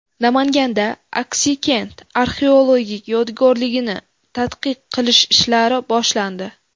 Namanganda Axsikent arxeologik yodgorligini tadqiq qilish ishlari boshlandi.